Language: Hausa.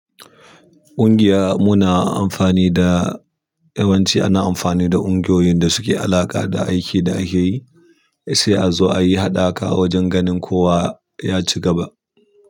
Ƙungiya muna amfani da yawanci ana amfani da ƙungiyoyin da suke alaƙa da aiki da akeyi sai azo ayi haɗa ka wajen ganin kowa yaci gaba.